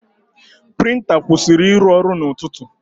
Prịnta kwụsịrị ịrụ ọrụ n'ụtụtụ.